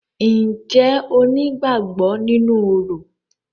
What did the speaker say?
Ǹjẹ́ o ní ìgbàgbọ nínú orò?